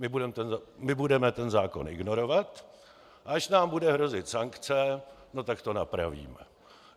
My budeme ten zákon ignorovat, a až nám bude hrozit sankce, no tak to napravíme.